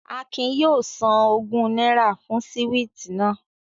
Akin yóò san ogún náírà fún síwìtì náà